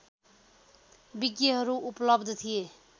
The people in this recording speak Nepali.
विज्ञहरू उपलब्ध थिए